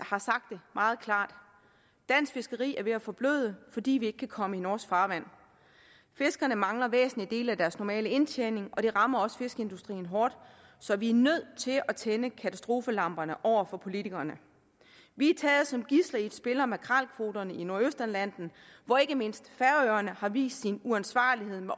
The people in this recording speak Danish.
har sagt det meget klart dansk fiskeri er ved at forbløde fordi vi ikke kan komme i norsk farvand fiskerne mangler væsentlige dele af deres normale indtjening og det rammer også fiskeindustrien hårdt så vi er nødt til at tænde katastrofelamperne over for politikerne vi er taget som gidsler i et spil om makrelkvoterne i nordøstatlanten hvor ikke mindst færøerne har vist sin uansvarlighed med